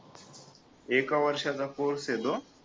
एका वर्षाचा कोर्स आहे तो